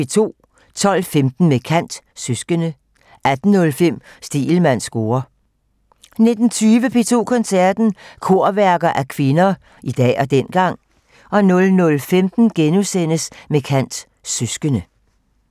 12:15: Med kant - Søskende 18:05: Stegelmanns score 19:20: P2 Koncerten - Korværker af kvinder - i dag og dengang 00:15: Med kant - Søskende *